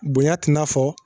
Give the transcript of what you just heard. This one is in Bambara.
Bonya tɛ i n'a fɔ